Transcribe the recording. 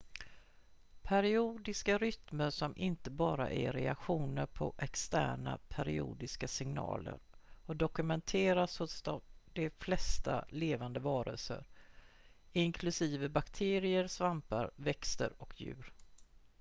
periodiska rytmer som inte bara är reaktioner på externa periodiska signaler har dokumenterats hos de flesta levande varelser inklusive bakterier svampar växter och djur